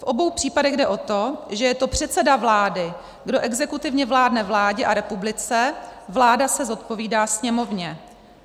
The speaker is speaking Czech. V obou případech jde o to, že je to předseda vlády, kdo exekutivně vládne vládě a republice, vláda se zodpovídá Sněmovně.